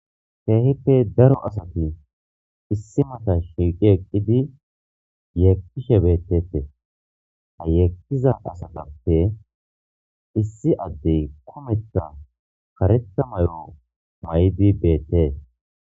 Kehipe daro asati issipe mata shiiqidi eqidi yekishe betetes ha yekiza asatape issi adde kumeta kareta mayo mayidi betes.